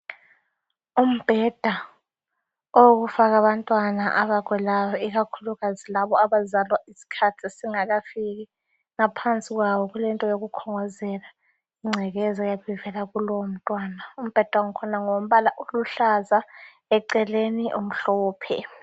Umbheda owokufaka abantwana abagulayo ikakhulukazi laba abazalwa isikhathi singakafiki ngaphansi kwawo kulento yokukhongozela ingcekeza eyabivela kulowo mntwana, umbheda wangkhona ngowombala oluhlaza eceleni umhlophe.